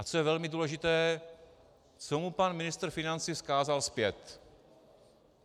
A co je velmi důležité - co mu pan ministr financí vzkázal zpět?